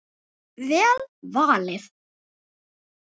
Vel valið.